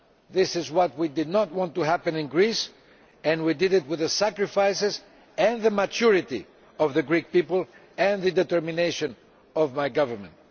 This is what we did not want to happen in Greece, and we achieved our aim with the sacrifices and the maturity of the Greek people and the determination of my Government.